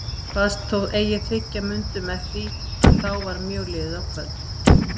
Kvaðst þó eigi þiggja mundu með því að þá var mjög liðið á kvöld.